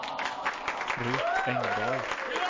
Rut Engdahl